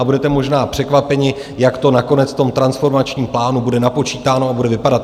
A budete možná překvapeni, jak to nakonec v tom transformačním plánu bude napočítáno a bude vypadat.